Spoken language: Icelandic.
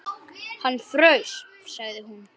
Hann fraus, sagði hún.